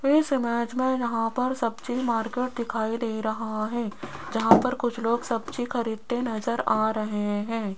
इस इमेज में यहां पर सब्जी मार्केट दिखाई दे रहा है जहां पर कुछ लोग सब्जी खरीदते नजर आ रहे हैं।